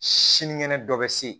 Sinikɛnɛ dɔ bɛ se